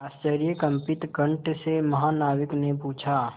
आश्चर्यकंपित कंठ से महानाविक ने पूछा